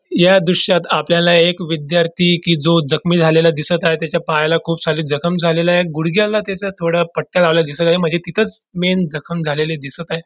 या दृश्यात आपल्याला एक विध्यार्थी की जो जखमी झालेला दिसत आहे त्याच्या पायला खूप सारी जखम झाली आहे गुडघ्याला त्याच थोड पट्या लावलेल्या दिसत आहे म्हणजे तिथंच मेन जखम झालेली दिसत आहे.